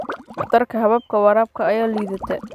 Waxtarka hababka waraabka ayaa liidata.